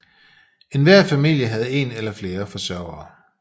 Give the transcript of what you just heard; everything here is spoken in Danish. Enhver familie havde en eller flere forsørgere